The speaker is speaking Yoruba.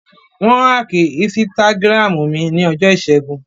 Wọ́n áàkì ísítágírámù mi ní ọjọ́ ìṣẹ́gun